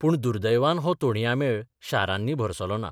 पूण दुर्दैवान हो तोणयां मेळ शारांनी भरसलोना.